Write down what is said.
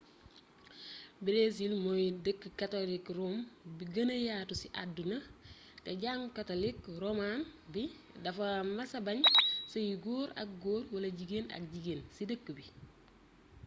breesil mooy dëkk katolik rom bu gëna yatu ci àdduna te jàngu katlik roman bi dafa mësa bañ seyu góor ak góor wala jigeen ak jigeen ci dëkk bi